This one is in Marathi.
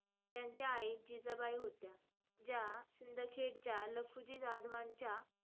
त्यांच्या आई जिजाबाई होत्या, ज्या सिंदखेडच्या लखुजी जाधवांच्या,